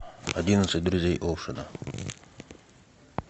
одиннадцать друзей оушена